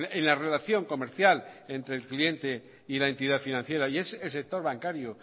en la relación comercial entre el cliente y la entidad financiera y es el sector bancario